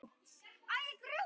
Þetta er mjög sérhæft starf.